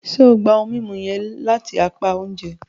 Ṣe o gba mímú yẹn lati apá oúnjẹ?